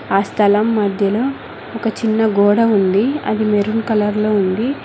ఆ స్థలం మధ్యలో ఒక చిన్న గోడ ఉంది అది మెరూన్ కలర్లో ఉంది.